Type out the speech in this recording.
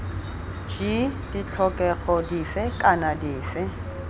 g ditlhokego dife kana dife